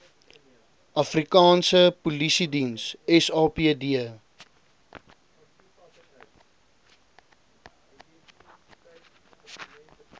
afrikaanse polisiediens sapd